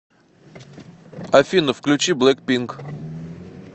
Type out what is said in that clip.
афина включи блэкпинк